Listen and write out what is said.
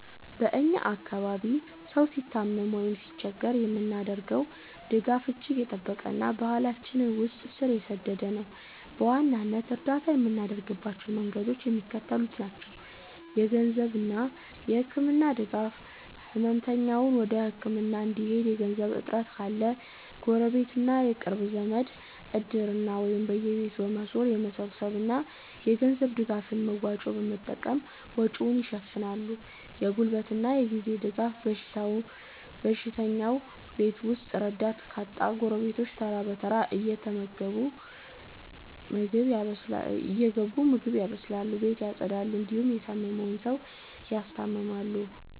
በ እኛ አካባቢ ሰው ሲታመም ወይም ሲቸገር የምናደርገው ድጋፍ እጅግ የጠበቀና በባህላችን ውስጥ ስር የሰደደ ነው። በዋናነት እርዳታ የምናደርግባቸው መንገዶች የሚከተሉት ናቸው -የገንዘብና የህክምና ድጋፍ፦ ህመምተኛው ወደ ህክምና እንዲሄድ የገንዘብ እጥረት ካለ፣ ጎረቤትና የቅርብ ዘመድ "እድር"ን ወይም በየቤቱ በመዞር የሚሰበሰብ የገንዘብ ድጋፍን (መዋጮ) በመጠቀም ወጪውን ይሸፍናሉ። የጉልበትና የጊዜ ድጋፍ፦ በሽተኛው ቤት ውስጥ ረዳት ካጣ፣ ጎረቤቶች ተራ በተራ እየገቡ ምግብ ያበስላሉ፣ ቤት ያፀዳሉ እንዲሁም የታመመውን ሰው ያስታምማሉ።